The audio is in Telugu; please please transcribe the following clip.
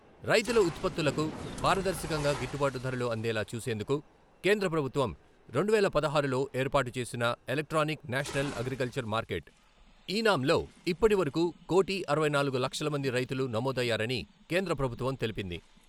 రైతుల ఉత్పత్తులకు పారదర్శకంగా గిట్టుబాటు ధరలు అందేలా చూసేందుకు కేంద్రప్రభుత్వం రెండువేల పదహారులో ఏర్పాటుచేసిన electronic national agriculture market eNAM లో ఇప్పటివరకు కోటీ అరవై నాలుగు లక్షలమంది రైతులు నమోదు అయ్యారని కేంద్రప్రభుత్వం తెలిపింది.